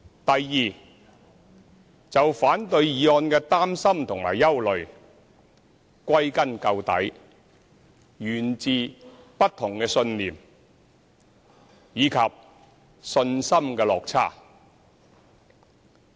第二，就反對議案的擔心和憂慮，歸根究底，源自不同信念，以及信心的落差。